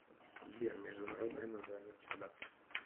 сбер международное название птеродактиль